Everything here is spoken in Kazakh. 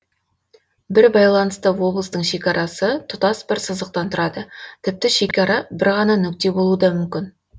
бір байланысты облыстың шекарасы тұтас бір сызықтан тұрады тіпті шекара бір ғана нүкте болуы да мүмкін